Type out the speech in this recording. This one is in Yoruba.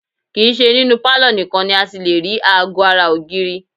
Kì í ṣe ninú pálọ̀ nìkan ni a ti lè rí aago ara ògiri